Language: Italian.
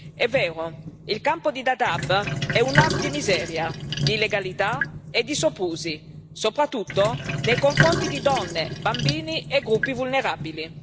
È vero, il campo di Dadaab è un hub di miseria, di illegalità e di soprusi, soprattutto nei confronti di donne, bambini e gruppi vulnerabili.